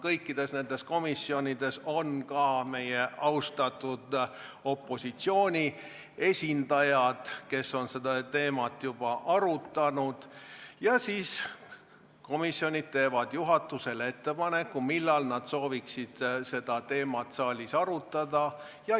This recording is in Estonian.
Kõikides nendes komisjonides on ka meie austatud opositsiooni esindajad, kes on seda teemat juba arutanud, ja siis komisjonid teevad juhatusele ettepaneku, millal nad sooviksid seda saalis arutada.